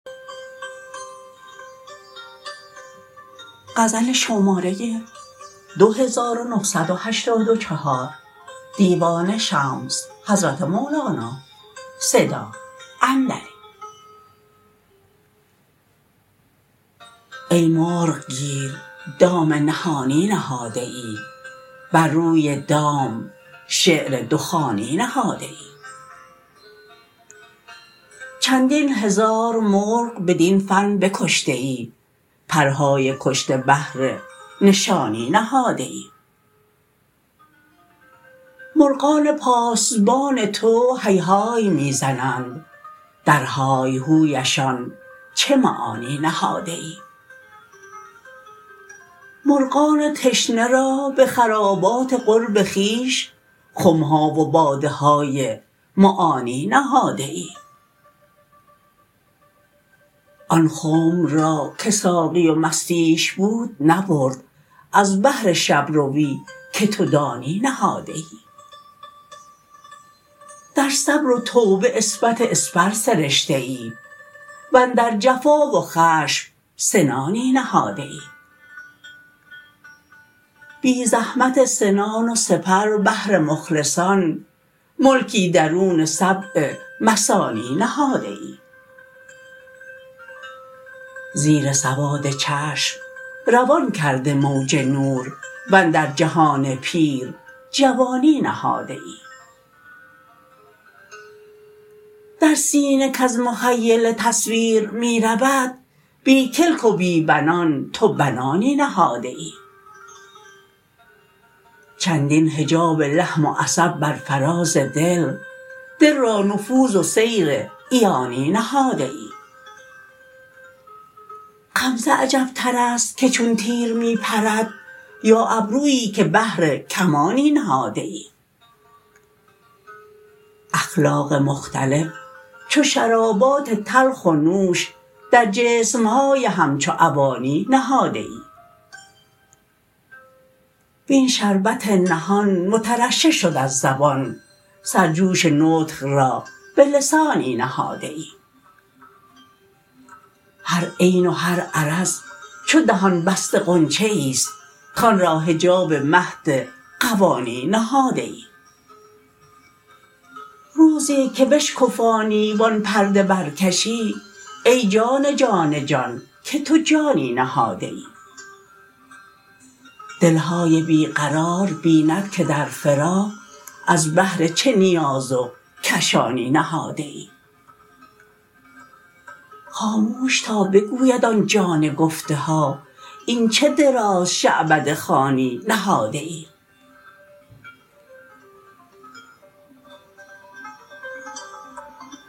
ای مرغ گیر دام نهانی نهاده ای بر روی دام شعر دخانی نهاده ای چندین هزار مرغ بدین فن بکشته ای پرهای کشته بهر نشانی نهاده ای مرغان پاسبان تو هیهای می زنند درهای هویشان چه معانی نهاده ای مرغان تشنه را به خرابات قرب خویش خم ها و باده های معانی نهاده ای آن خنب را که ساقی و مستیش بود نبرد از بهر شب روی که تو دانی نهاده ای در صبر و توبه عصمت اسپر سرشته ای و اندر جفا و خشم سنانی نهاده ای بی زحمت سنان و سپر بهر مخلصان ملکی درون سبع مثانی نهاده ای زیر سواد چشم روان کرده موج نور و اندر جهان پیر جوانی نهاده ای در سینه کز مخیله تصویر می رود بی کلک و بی بنان تو بنانی نهاده ای چندین حجاب لحم و عصب بر فراز دل دل را نفوذ و سیر عیانی نهاده ای غمزه عجبتر است که چون تیر می پرد یا ابروی که بهر کمانی نهاده ای اخلاق مختلف چو شرابات تلخ و نوش در جسم های همچو اوانی نهاده ای وین شربت نهان مترشح شد از زبان سرجوش نطق را به لسانی نهاده ای هر عین و هر عرض چو دهان بسته غنچه ای است کان را حجاب مهد غوانی نهاده ای روزی که بشکفانی و آن پرده برکشی ای جان جان جان که تو جانی نهاده ای دل های بی قرار ببیند که در فراق از بهر چه نیاز و کشانی نهاده ای خاموش تا بگوید آن جان گفته ها این چه دراز شعبده خوانی نهاده ای